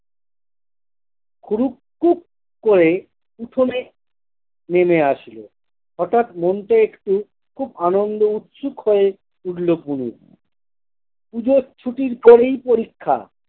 কুরুক কুক করে উঠোনে নেমে আসলো হঠাৎ মন টা একটু খুব আনন্দ উচ্ছুক হয়ে উঠল পুলুর পুজোর ছুটির পরেই পরীক্ষা।